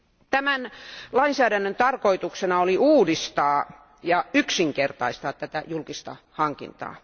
Tämän lainsäädännön tarkoituksena oli uudistaa ja yksinkertaistaa tätä julkista hankintaa.